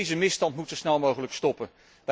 Deze misstand moet zo snel mogelijk stoppen.